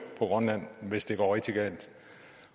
grønland hvis det går rigtig galt